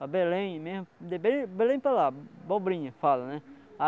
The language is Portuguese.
Para Belém mesmo, de Belém Belém para lá, abobrinha que fala, né?